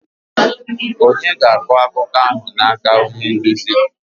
Ònye ga-akọ akụkọ ahụ n'aka onye nduzi?